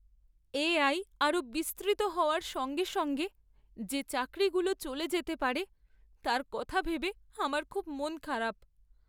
AI আরও বিস্তৃত হওয়ার সঙ্গে সঙ্গে যে চাকরিগুলো চলে যেতে পারে তার কথা ভেবে আমার খুব মন খারাপ।